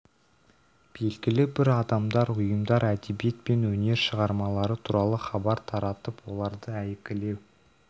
белгілі бір адамдар ұйымдар әдебиет пен өнер шығармалары туралы хабар таратып оларды әйгілеу